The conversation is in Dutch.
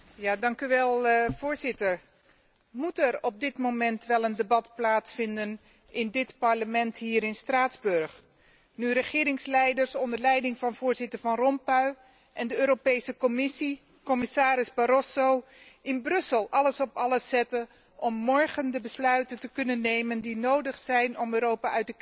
Voorzitter, moet er op dit moment wel een debat plaatsvinden in dit Parlement hier in Straatsburg, nu regeringsleiders onder leiding van voorzitter Van Rompuy en de Commissie, commissaris Barroso, in Brussel alles op alles zetten om morgen de besluiten te kunnen nemen die nodig zijn om Europa uit de crisis te trekken?